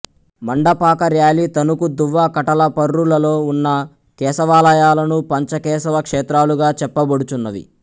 మండపాక ర్యాలి తణుకు దువ్వ కటలపర్రు లలో వున్న కేశవాలయాలను పంచ కేశవ క్షేత్రాలుగా చెప్పబడుచున్నవి